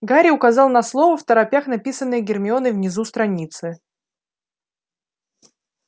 гарри указал на слово второпях написанное гермионой внизу страницы